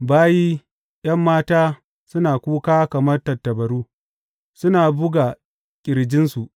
Bayi ’yan mata suna kuka kamar tattabaru suna buga ƙirjinsu.